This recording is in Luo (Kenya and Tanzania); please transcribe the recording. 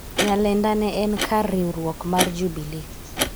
Nyalenda ne en kar riwruok mar Jubilee